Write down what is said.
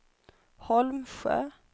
Holmsjö